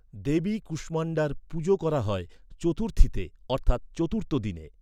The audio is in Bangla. দেবী কুষ্মাণ্ডার পুজো করা হয় চতুর্থীতে অর্থাৎ চতুর্থ দিনে